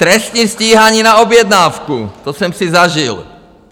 Trestní stíhání na objednávku, to jsem si zažil!